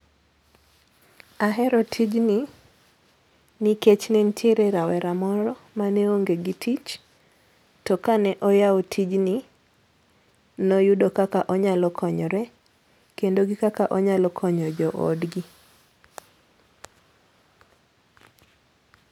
Ahero tijni nikech ne nitiere rawera moro mane onge gi tich, to kane oyawo tijni, no yudo kaka onyalo konyore kendo gi kaka onyalo konyo jo odgi.